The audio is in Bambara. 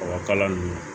Ɔ kalan ninnu